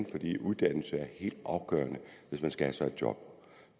fordi uddannelse er helt afgørende hvis man skal have sig et job